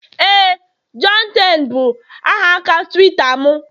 Éè, johnten bụ aha aka Tuweeta m